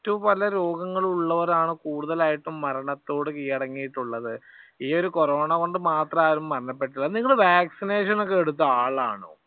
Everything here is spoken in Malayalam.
മറ്റുപല രോഗങ്ങൾ ഉള്ളവരാണ് കൂടുതലായിട്ടും മരണത്തോട് കീഴടങ്ങിയിട്ടുള്ളത്. ഈ ഒരു കൊറോണ കൊണ്ട് മാത്രം ആരും മരണപ്പെട്ടില്ല. നിങ്ങൾ വാക്സിനേഷൻ ഒക്കെ എടുത്ത ആളാണോ?